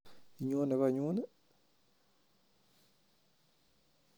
Inyone konyuni?